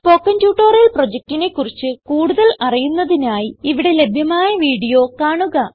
spoken tutorial പ്രൊജക്റ്റിനെ കുറിച്ച് കൂടുതൽ അറിയുന്നതിനായി ഇവിടെ ലഭ്യമായ വീഡിയോ കാണുക